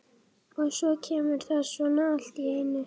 Og svo kemur það svona allt í einu.